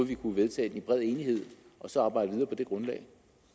vi kunne vedtage det i bred enighed og så arbejde videre på det grundlag